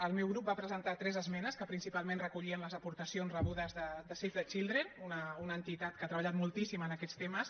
el meu grup va presentar tres esmenes que principalment recollien les aportacions rebudes de save the children una entitat que ha treballat moltíssim en aquests temes